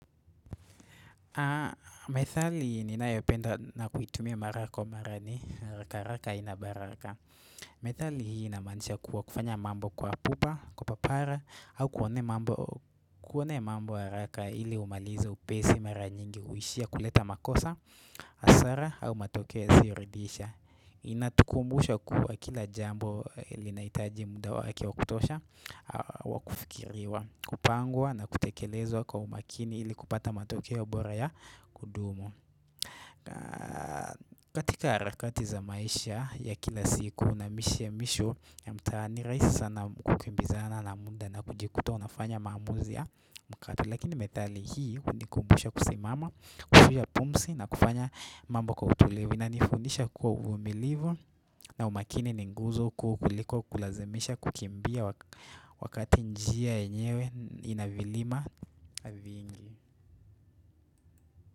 Methali ninayependa na kuitumia mara kwa mara ni, haraka haraka haina baraka. Methali hii inamaanisha kuwa kufanya mambo kwa pupa, kupapara au kuone kuonea mambo raka ili umalizo upesi mara nyingi huishia kuleta makosa, hasara au matokeo yasio ridhisha. Inatukumbusha kuwa kila jambo lilinaitaji muda wake wa kutosha wa kufikiriwa kupangwa na kutekelezwa kwa umakini ili kupata matokeo ya ubora ya kudumu katika harakati za maisha ya kila siku na mwisho ya mtaani rahisi sana kukimbizana na mda na kujikuta unafanya maamuzi ya mkati lakini methali hii unikumbusha kusimama, kufia pumsi na kufanya mambo kwa utulivu inanifundisha kuwa umilivu na umakini ni nguzo kuu kuliko kulazimisha kukimbia wakati njia yenyewe ina vilima viingi.